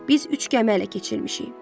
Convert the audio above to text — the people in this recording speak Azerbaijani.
Biz üç gəmi ələ keçirmişik.